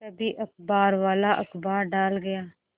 तभी अखबारवाला अखबार डाल गया